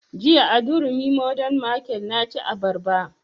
Jiya a durumi modern market na ci abarba